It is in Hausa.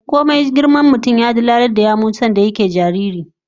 Komai girman mutum, sanda yana jariri ya dalalar da yawu